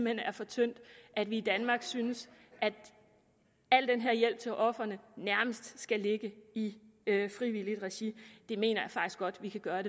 hen er for tyndt at vi i danmark synes at al den her hjælp til ofrene nærmest skal ligge i frivilligt regi det mener jeg faktisk godt vi kan gøre